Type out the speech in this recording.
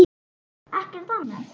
Ekkert annað?